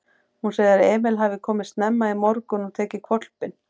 Hún segir að Emil hafi komið snemma í morgun og tekið hvolpinn.